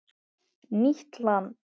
Nýtt land